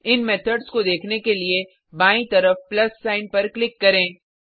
इन methods को देखने के लिए बायीं तरफ प्लस सिग्न पर क्लिक करें